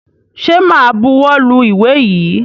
Ṣẹ máa buwọ́ lu ìwé yìí?